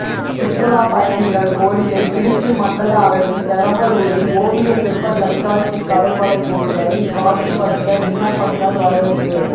சுற்றுலா பயணிகள் கோரிக்கை திருச்சி மண்டல அளவில் பெரம்பலூரில் ஓவிய சிற்ப கண்காட்சி கலைப்படைப்புகளை காட்சி படுத்த விண்ணப்பங்கள் வரவேற்பு